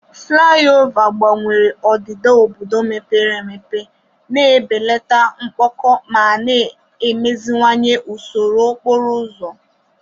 Fulaiova gbanwere odida obodo mepere emepe, na-ebelata mkpọkọ ma na-emeziwanye usoro okporo ụzọ.